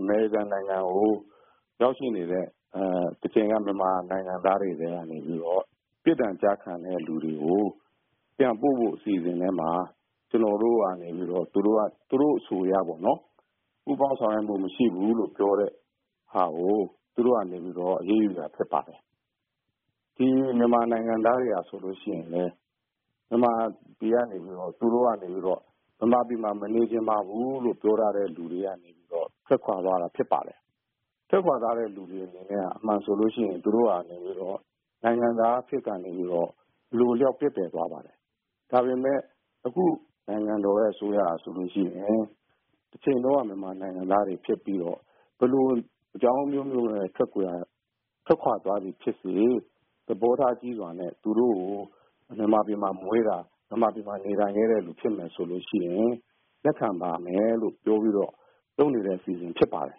အမေရိကန်နိုင်ငံကို ရောက်ရှိနေတဲ့ မြန်မာနိုင်ငံသားတွေကနေ ပြစ်ဒဏ်ကျခံတဲ့လူတွေကို ပြန်ပို့ဖို့ အစီအစဉ်ထဲမှာ ကျနော်တို့ကနေပြီးတော့ သူတို့အဆိုအရပေါ့နော် ပူးပေါင်းဆောင်ရွက်မှုမရှိဘူးလို့ ပြောတာကို သူတို့ကနေပြီးတော့ အရေးယူတာဖြစ်ပါတယ်။ ဒီမြန်မာနိုင်ငံသားတွေကဆိုရင် မြန်မာပြည်ကနေပြီးတော့ သူတို့ကနေပြီးတော့ ပြောထားတဲ့လူတွေက ထွက်ခွာသွားတာဖြစ်ပါတယ်။ ထွက်ခွာတဲ့လူတွေက အမှန်ဆိုရင် သူတို့ကနေပြီးတော့ နိုင်ငံသားအဖြစ်ကနေ အလိုအလျောက်ပျက်ပြယ်သွားပါတယ်။ ဒါပေမယ့် အခုနိုင်ငံတော်အစိုးရကဆိုရင် တချိန်တုန်းက မြန်မာနိုင်ငံသားတွေဖြစ်ပြီးတော့ ဘယ်လိုအကြောင်းအမျိုးမျိုးနဲ့ ထွက်ခွာသွားသည်ဖြစ်စေ သဘောထားကြီးစွာနဲ့ သူတို့ကို မြန်မာပြည်မှာမွေးတာ မြန်မာပြည်မှာ နေလာတဲ့လူဖြစ်မယ်ဆိုရင် လက်ခံပါမယ်ဆိုတာပြောပြီးတော့ လုပ်နေတဲ့အစီအစဉ်ဖြစ်ပါတယ်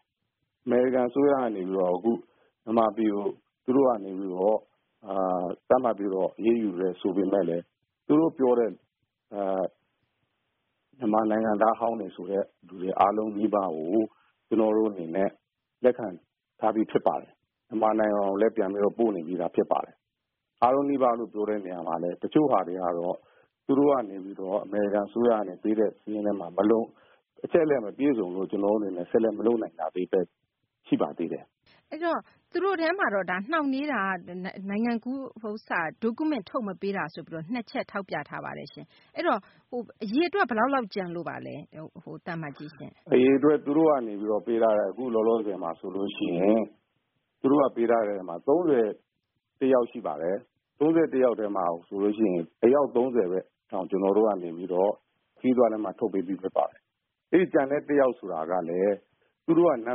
။ အမေရိကန်အစိုးရကနေပြီးတော့ အခုမြန်မာပြည်ကို သူတို့ကနေပြီးတော့ သတ်မှတ်ပြီးတော့ အရေးယူတယ်ဆိုပေမယ့်လည်း သူတို့ပြောတဲ့ မြန်မာနိုင်ငံသားဟောင်းတွေဆိုတဲ့လူတွေအားလုံးနီးပါးကို ကျနော်တို့အနေနဲ့ လက်ခံထားပြီးသားဖြစ်ပါတယ်။ မြန်မာနိုင်ငံကိုလည်း ပြန်ပြီးတော့ ပို့နေပြီးသားဖြစ်ပါတယ်။ အားလုံးနီးပါးလို့ ပြောတဲ့နေရာမှာလည်း တချို့ဟာတွေကတော့ သူတို့ကနေပြီးတော့ အမေရိကန်အစိုးရကနေ ပေးတဲ့ စာရင်းမို့လို့ အချက်အလက်မပြည့်စုံဘူးဆိုပြီးတော့မလုပ်နိုင်တာပဲ ရှိပါသေးတယ်။ မသိင်္ဂ ီထိုက်။ ။ အဲဒီတော့ သူတို့ထဲမှာက နှောင့်နှေးတာက နိုင်ငံကူး Document ထုတ်မပေးတာဆိုပြီးတော့ အဲဒီ ၂ ချက်ထောက်ပြထားတာရှိပါတယ်။ အဲဒီတော့ အရေအတွက် ဘယ်လောက်လောက်ကျန်လို့ပါလဲ။ ဦးအောင်လင်း။ ။သူတို့ကနေ ပေးထားတဲ့ အခုလောလောဆည်မှာဆိုရင် သူတို့ကပေးထားတာ ၃၁ ယောက်ရှိပါတယ်။ အဲဒီ ၃၁ ယောက်မှာဆိုရင် အယောက် ၃၀ ပဲ ကျနော်တို့ကနေပြီးတော့ ခရီးသွားလက်မှတ်ထုတ်ပေးပြီးသားဖြစ်ပါတယ်။ အဲဒီကျန်တဲ့ ၁ ယောက်ဆိုတာကလည်း သူတို့က နာ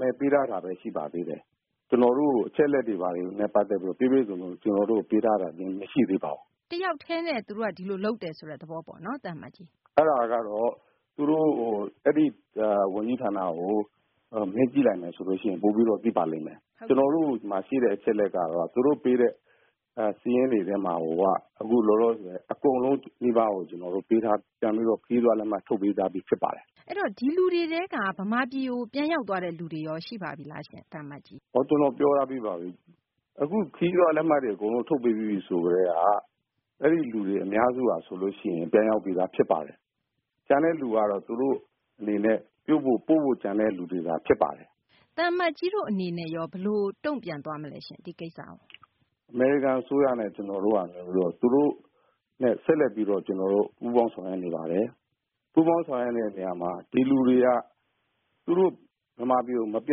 မည်ပေးထားတာပဲ ရှိပါသေးတယ်။ ကျနော်တို့ကို အချက်အလက်တွေနဲ့ပတ်သက်ပြီးတော့ ပြည့်ပြည့်စုံစုံ ပေးတာမရှိပါဘူး။ မသိင်္ဂ ီထိုက်။ ။တယောက်တည်းနဲ့ သူတို့က ဒီလိုလုပ်တယ်ဆိုတဲ့သဘောပေါ့နော်။ ဦးအောင်လင်း။ ။အဲဒါကတော့ သူတို့ အဲဒီဝန်ကြီးဌာနကို မေးကြည့်မယ်ဆိုရင် ပိုပြီးတော့ ကောင်းပါလိမ့်မယ် ။ ကျနော်တို့ ဒီမှာရှိတဲ့အချက်အလက်ကတော့ သူတို့ပေးတဲ့ စာရင်းတွေထဲမှာကို အခုလောလောဆည်အကုန်လုံးနီးပါးကို သူတို့ ခရီးသွားလက်မှတ်ထုတ်ပေးပြီးသားဖြစ်ပါတယ်။ မသိင်္ဂ ီထိုက်။ ။ အဲဒီတော့ ဒီလူတွေထဲက မြန်မာပြည်ကို ပြန်ရောက်သွားတဲ့လူ ရှိပါပြီလား။ ဦးအောင်လင်း။ ။ခရီးသွားလက်မှတ်ထုတ်ပေးပြီးပြီ ဆိုကတည်းက အဲဒီလူတွေအများစုက ပြန်ရောက်ပြီးသားဖြစ်ပါတယ်။ကျန်တဲ့လူကတော့ သူတို့အနေနဲ့ ပို့ဖို့ ကျန်တဲ့လူတွေသာဖြစ်ပါတယ်။ မသိင်္ဂ ီထိုက်။ ။သံအမတ်ကြီးတို့အနေနဲ့ရော ဘယ်လိုတုံ့ပြန်သွားမလဲ ဒီကိစ္စကို ဦးအောင်လင်း။ ။အမေရိကန်အစိုးရနဲ့ ကျနော်တို့က သူတို့နဲ့ ဆက်လက်ပြီးတော့ ပူးပေါင်းဆောင်ရွက်နေပါတယ်။ ပူးပေါင်းဆောင်ရွက်နေတဲ့နေရာမှာ ဒီလူတွေက သူတို့ မြန်မာပြည်ကို မပြ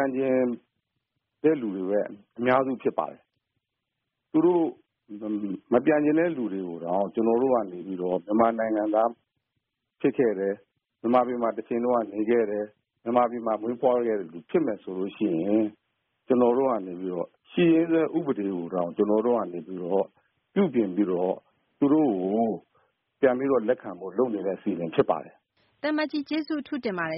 န်ချင်တဲ့လူတွေပဲ အများစုဖြစ်ပါတယ်။ မပြန်ချင်တဲ့လူတွေကိုတောင် ကျနော်တို့ကနေပြီးတော့ မြန်မာနိုင်ငံသားဖြစ်ခဲ့တယ် မြန်မာပြည်မှာ တချိန်က နေခဲ့တယ် ၊ မြန်မာပြည်မှာ မွေးဖွားခဲ့တဲ့လူတွေဖြစ်မယ်ဆိုရင် ကျနော်တို့ကနေပြီးတော့ ရှိရင်းစွဲဥပဒေကိုတောင် ကျနော်တို့ကနေပြီးတော့ ပြုပြင်ပြီးတော့ ကျနော်တို့ပြန်ပြီးတော့ လက်ခံဖို့လုပ်နေတဲ့အစီအစဉ်ဖြစ်ပါတယ်။ မသိင်္ဂ ီထိုက်။ ။သံအမတ်ကြီးအထူးကျေးဇူးတင်ပါတယ်